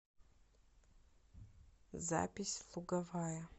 запись луговая